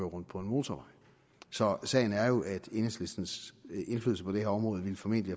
rundt på en motorvej så sagen er jo at enhedslistens indflydelse på det her område formentlig